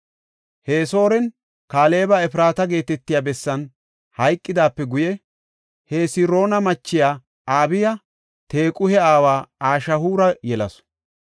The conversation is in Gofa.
Hesrooni Kaaleba Efraata geetetiya bessan hayqidaape guye, Hesiroona machiya Abiya Tequhe aawa Ashihuura yelasu.